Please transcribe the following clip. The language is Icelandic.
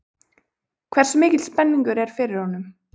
Hversu mikil spenningur er fyrir honum?